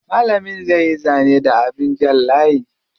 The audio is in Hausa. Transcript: Malamin zai yi zane da abin jan layi.